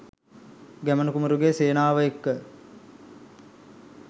ගැමුණු කුමරුගේ සේනාවට එක්ව